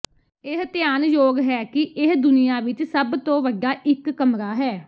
ਇਹ ਧਿਆਨਯੋਗ ਹੈ ਕਿ ਇਹ ਦੁਨੀਆ ਵਿਚ ਸਭ ਤੋਂ ਵੱਡਾ ਇਕ ਕਮਰਾ ਹੈ